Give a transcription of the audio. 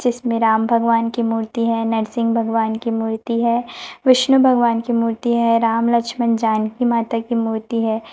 जिसमें राम भगवान की मूर्ती है नरसिंग भगवान की मूर्ती है विष्णु भगवान की मूर्ती है राम लक्ष्मण जानकी माता की मूर्ती है।